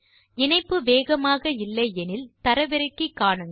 இணைப்பு வேகமாக இல்லை எனில் தரவிறக்கி காணுங்கள்